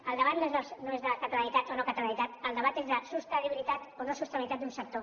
el debat no és de catalanitat o no catalanitat el debat és de sostenibilitat o no sostenibilitat d’un sector